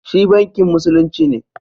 Shi Bankin Musulunci ne